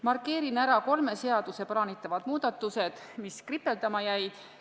Markeerin ära kolme seaduse puhul plaanitavad muudatused, mis kripeldama jäid.